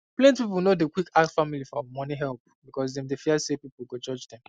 plenty people no dey quick ask family for money help because dem dey fear say people go judge dem